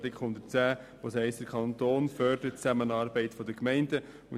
In diesem heisst es, dass der Kanton die Zusammenarbeit der Gemeinden fördert.